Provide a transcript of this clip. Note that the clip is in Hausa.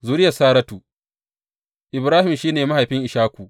Zuriyar Saratu Ibrahim shi ne mahaifin Ishaku.